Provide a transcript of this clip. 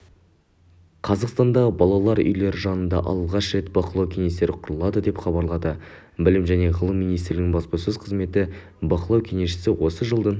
қазақстандағы балалар үйлері жанында алғаш рет бақылау кеңестері құрылады деп хабарлады білім және ғылым министрлігінің баспасөз қызметі бақылау кеңестері осы жылдың